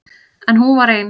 En hún var ein.